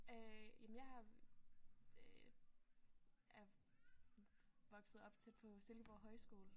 Øh jamen jeg er øh er vokset op tæt på Silkeborg Højskole